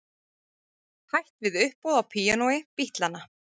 Hætt við uppboð á píanói Bítlanna